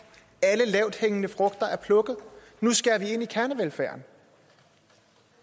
alle lavthængende frugter er plukket nu skærer vi ind i kernevelfærden